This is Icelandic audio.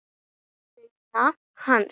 Laun hans?